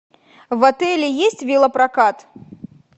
в отеле есть велопрокат